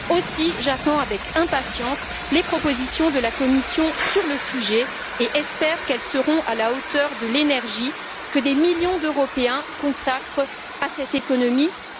Aussi, j'attends avec impatience les propositions de la Commission sur le sujet et j'espère qu'elles seront à la hauteur de l'énergie que des millions d'Européens consacrent à cette économie plus inclusive et plus durable.